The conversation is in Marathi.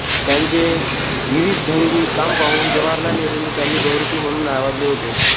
त्यांचे विविधढंगी काम पाहून जवाहरलाल नेहरूंनी त्यांना बहुरूपी म्हणून नावाजले होते